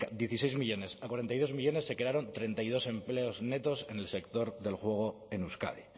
dieciséis millónes a cuarenta y dos millónes se crearon treinta y dos empleos netos en el sector del juego en euskadi